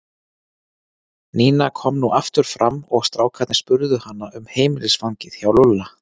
Nína kom nú aftur fram og strákarnir spurðu hana um heimilisfangið hjá Lúlla.